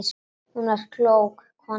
Hún var klók, konan sú.